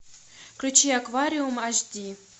включи аквариум аш ди